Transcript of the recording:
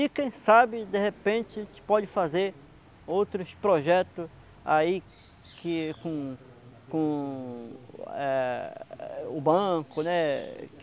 E quem sabe, de repente, a gente pode fazer outros projetos aí que, com, com é o banco, né?